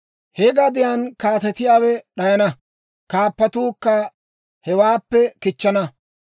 He gadiyaan kaatetiyaawe d'ayana; kaappatuukka hewaappe kichchana.